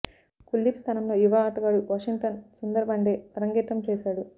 కుల్దీప్ స్థానంలో యువ ఆటగాడు వాషింగ్టన్ సుందర్ వన్డే అరంగేట్రం చేశాడు